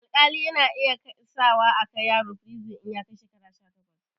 Alƙali yana iya sa akai yaro firizin in ya kai shekara sha takwas